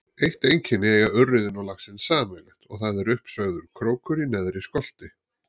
Eitt einkenni eiga urriðinn og laxinn sameiginlegt og það er uppsveigður krókur í neðri skolti.